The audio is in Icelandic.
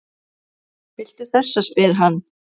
Viltu þessa? spyr hann.